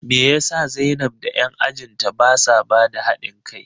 Me yasa zainab da 'yan ajin ta basa bada hadin kai?